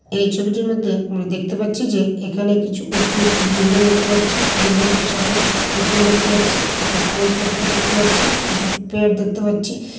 এই ছবিটির মধ্যে আমরা দেখতে পাচ্ছি যে এখানে কিছু উচু উঁচু বিল্ডিং দেখতে পাচ্ছি। বিল্ডিং টির সাথে কিছু পুতুল দেখতে পাচ্ছি। কিছু বই পড়তে দেখতে পাচ্ছি। কিছু দেখতে পাচ্ছি।